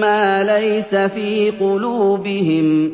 مَّا لَيْسَ فِي قُلُوبِهِمْ ۗ